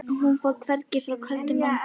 Hún fór hvergi, frá köldu landi.